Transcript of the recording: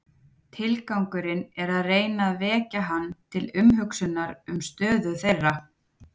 Tilgangurinn er að reyna að vekja hann til umhugsunar um stöðu þeirra.